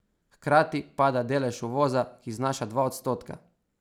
Hkrati pada delež uvoza, ki znaša dva odstotka.